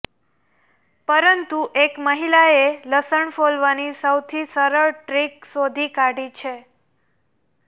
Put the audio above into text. પરંતુ એક મહિલાએ લસણ ફોલવાની સૌથી સરળ ટ્રિક શોધી કાઢી છે